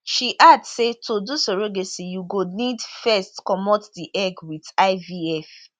she add say to do surrogacy you go need first comot di egg wit ivf